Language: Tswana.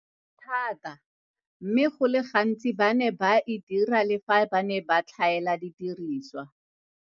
Thata, mme go le gantsi ba ne ba e dira le fa ba ne ba tlhaela didirisiwa.